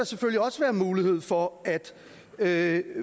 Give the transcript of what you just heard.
selvfølgelig også være mulighed for at